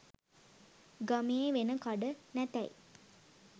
ගමේ වෙන කඩ නැතැයි